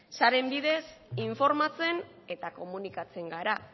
sareen bidez informatzen eta komunikatzen gara